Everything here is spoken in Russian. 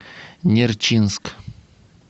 нерчинск